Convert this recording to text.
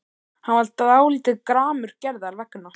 Hann var dálítið gramur Gerðar vegna.